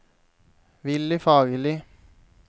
Willy Fagerli